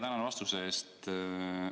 Tänan vastuse eest!